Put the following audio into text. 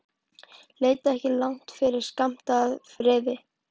Leitaðu ekki langt yfir skammt að friði.